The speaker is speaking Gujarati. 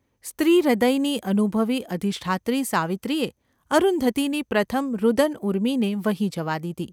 ​ સ્ત્રીહૃદયની અનુભવી અધિષ્ઠાત્રી સાવિત્રીએ અરુંધતીની પ્રથમ રુદનઊર્મિને વહી જવા દીધી.